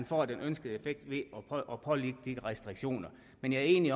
får den ønskede effekt ved at pålægge disse restriktioner men jeg er enig i